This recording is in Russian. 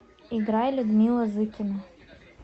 играй людмила зыкина